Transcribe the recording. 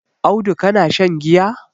Audu kana shan giya?